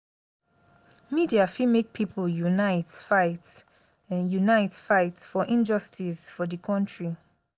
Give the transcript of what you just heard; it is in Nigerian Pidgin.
media fit make pipo unite fight unite fight for injustice for di country.